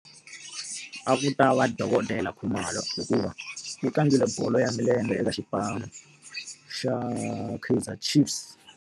A ku ta va dokodela Khumalo hikuva u tlangile bolo ya milenge eka xipano xa Keizer chiefs.